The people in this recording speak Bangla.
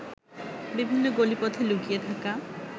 বিভিন্ন গলিপথে লুকিয়ে থাকা